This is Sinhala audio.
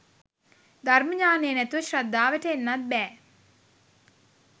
ධර්ම ඤාණය නැතුව ශ්‍රද්ධාවට එන්නත් බෑ